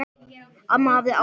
Amma hafði áhuga á fólki.